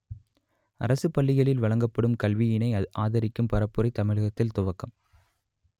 அரசுப் பள்ளிகளில் வழங்கப்படும் கல்வியினை ஆதரிக்கும் பரப்புரை தமிழகத்தில் துவக்கம்